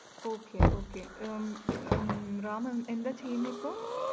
okay okay ഉം ഉം റാം എന്താ ചെയ്യുന്നെ ഇപ്പൊ?